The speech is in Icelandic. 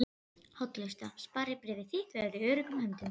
hollusta. sparifé þitt verður í öruggum höndum.